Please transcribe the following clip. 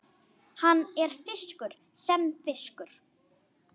Hann er frískur sem fiskur.